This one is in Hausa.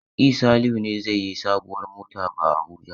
E, Salihu ne zai yi sabuwar mota ba a Abuja.